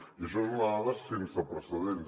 i això és una dada sense precedents